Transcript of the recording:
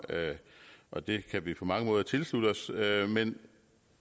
og det kan vi på mange måder tilslutte os men